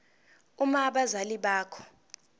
uma abazali bakho